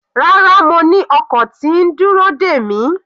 Rárá, mo ni ọkọ̀ tí ń dúró dè mi.